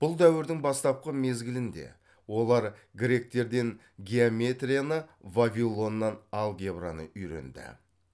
бұл дәуірдің бастапқы мезгілінде олар гректерден геометрияны вавилоннан алгебраны үйренді